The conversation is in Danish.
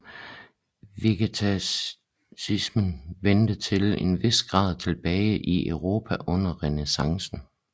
Vegetarismen vendte til en vis grad tilbage i Europa under Renæssancen